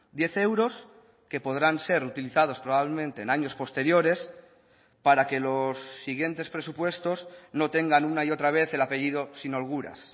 diez euros que podrán ser utilizados probablemente en años posteriores para que los siguientes presupuestos no tengan una y otra vez el apellido sin holguras